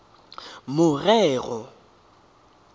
morero